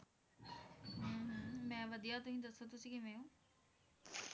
ਹੁੰ ਹੁੰ ਮੈਂ ਵਧੀਆ ਤੁਸੀ ਦੱਸੋ ਤੁਸੀ ਕਿਵੇਂ ਹੋ